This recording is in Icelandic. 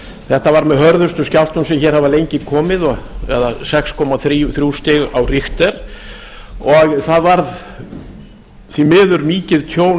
þetta var með hörðustu skjálftum sem hér hafa lengi komið eða sex komma þrjú stig á richter og það varð því miður mikið tjón